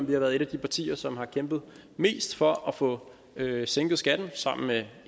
vi har været et af de partier som har kæmpet mest for at få sænket skatten sammen med